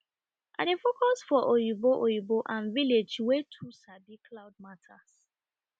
i dey focus for oyibo oyibo and village way to sabi cloud matters